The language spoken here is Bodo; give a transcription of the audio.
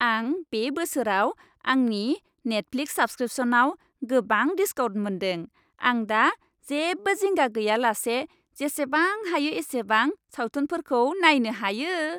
आं बे बोसोराव आंनि नेटफ्लिक्स साब्सक्रिपसनआव गोबां दिस्काउन्ट मोन्दों। आं दा जेबो जिंगा गैयालासे जेसेबां हायो एसेबां सावथुनफोरखौ नायनो हायो।